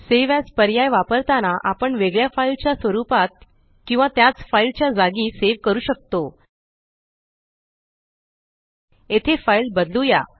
save as पर्याय वापरताना आपण वेगळ्या फाइल च्या स्वरुपात किंवा त्याच फाइल च्या जागी सेव करू शकतो येथे फाइल बदलुया